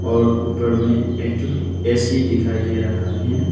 और ऊपर में एक ठो ए_सी दिखाई दे रहा है।